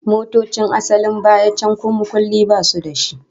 Motocin asalin baya can ko makulli basu da shi